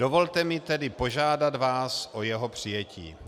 Dovolte mi tedy požádat vás o jeho přijetí.